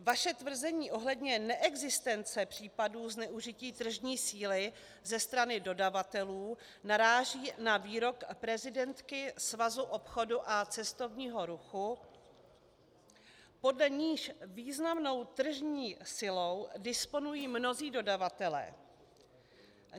Vaše tvrzení ohledně neexistence případů zneužití tržní síly ze strany dodavatelů naráží na výrok prezidentky Svazu obchodu a cestovního ruchu, podle níž významnou tržní silou disponují mnozí dodavatelé.